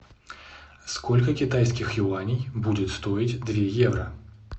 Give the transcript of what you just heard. сколько китайских юаней будет стоить две евро